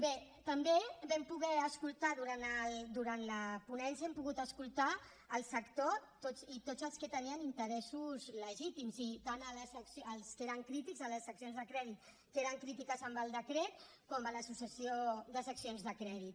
bé també vam poder escoltar durant la ponència hem pogut escoltar el sector i tots els que tenien interessos legítims i tant als que eren crítics a les seccions de crèdit que eren crítics amb el decret com a l’associació de seccions de crèdit